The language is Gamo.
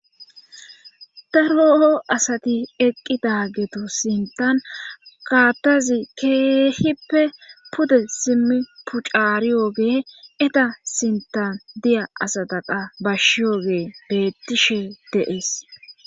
Ta loo'o asati eqqi daagetu sintan kaattazi keehippe pude simmi puccariyooge eta sintan diya asataqa bashshiyooge bettishe deees.